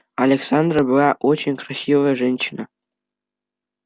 александра была очень красивая женщина